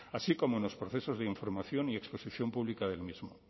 así como en los procesos de información y exposición pública el mismo